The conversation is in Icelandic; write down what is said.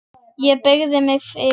Ég beygi mig yfir hana.